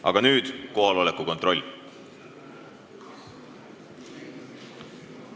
Aga nüüd kohaloleku kontroll.